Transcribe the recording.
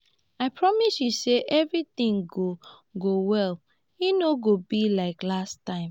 i promise you say everything go go well e no go be like last time